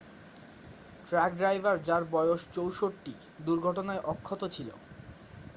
truck driver যার বয়স 64 দুর্ঘটনায় অক্ষত ছিল